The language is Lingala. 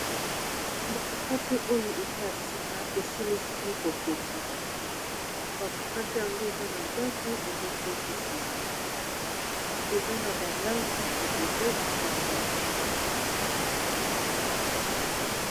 Ba mokate oyo eza ya sika eselisami kotongama bamokate yango eza na zandu ezotekisama eza na balangi ebele esangani